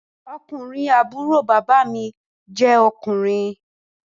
Ọkùnrin àbúrò bàbá mi ọkùnrin